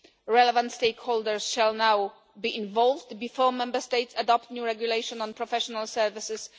Relevant stakeholders shall now be involved before Member States adopt the new regulation on professional services.